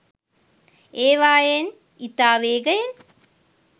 ඒවායෙන් ඉතා වේගයෙන්